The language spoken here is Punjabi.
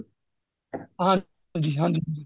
ਹਾਂਜੀ ਹਾਂਜੀ ਹਾਂਜੀ